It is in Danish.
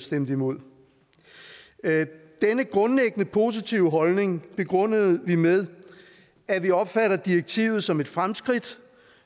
stemte imod denne grundlæggende positive holdning begrundede vi med at vi opfatter direktivet som et fremskridt